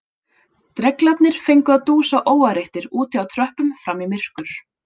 Dreglarnir fengu að dúsa óáreittir úti á tröppum fram í myrkur